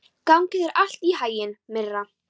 Gangi þér allt í haginn, Myrra.